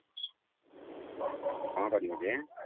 କଣ କରିବୁ ଯେ?